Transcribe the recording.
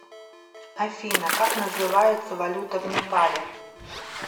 афина как называется валюта в непале